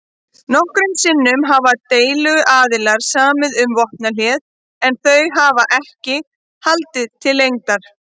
Nokkrum sinnum hafa deiluaðilar samið um vopnahlé en þau hafa ekki haldið til lengdar.